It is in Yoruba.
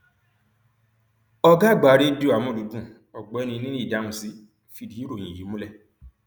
ọgá àgbà rédíò àmúlùdún ọgbẹni níyì dáhùnsì fìdí ìròyìn yìí múlẹ